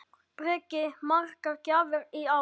Breki: Margar gjafir í ár?